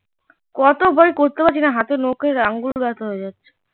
কত ভাই করতে পারছি না হাতের নখের আঙ্গুল ব্যাথা হয়ে যাচ্ছে